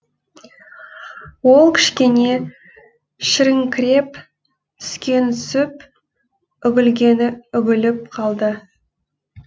ол кішкене шіріңкіреп түскені түсіп үгілгені үгіліп қалды